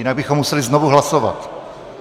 Jinak bychom museli znovu hlasovat.